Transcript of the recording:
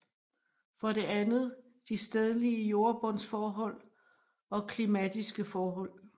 For det andet de stedlige jordbundsforhold og klimatiske forhold